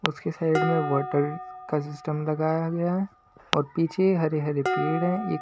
उसके साइड में वाटर का सिस्टम लगाया गया है और पीछे हरे-हरे पेड़ हैं ये--